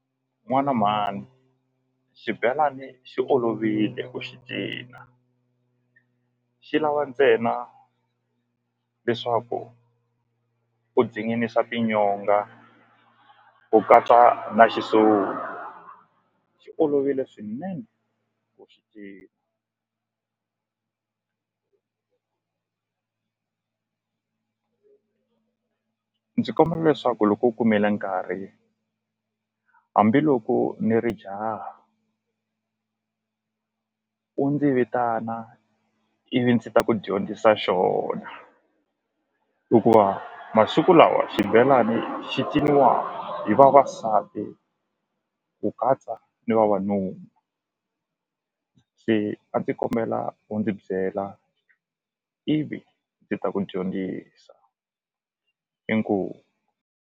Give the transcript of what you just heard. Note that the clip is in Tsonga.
N'wana mhani xibelani xi olovile ku xi cina xi lava ntsena leswaku u zinginisa tinyonga ku katsa na xi olovile swinene ndzi kombela leswaku loko u kumile nkarhi hambiloko ni ri jaha u ndzi vitana ivi ndzi ta ku dyondzisa xona hikuva masiku lawa xibelani xi ciniwa hi vavasati ku katsa ni vavanuna se a ndzi kombela u ndzi byela ivi ndzi ta ku dyondzisa inkomu.